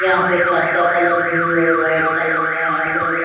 यहाँ पे छत का कलर ब्लू और वाइट कलर का हें लोग--